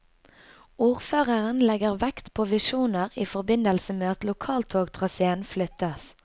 Ordføreren legger vekt på visjoner i forbindelse med at lokaltogtraséen flyttes.